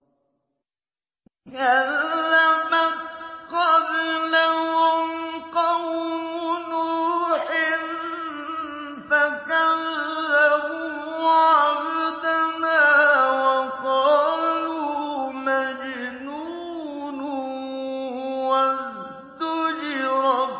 ۞ كَذَّبَتْ قَبْلَهُمْ قَوْمُ نُوحٍ فَكَذَّبُوا عَبْدَنَا وَقَالُوا مَجْنُونٌ وَازْدُجِرَ